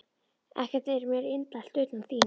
Ekkert er mér indælt, utan þín.